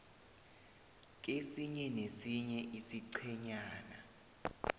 kesinye nesinye isiqhenyana